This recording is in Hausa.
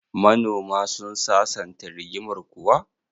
Manoma sun sasanta rigimar kuwa?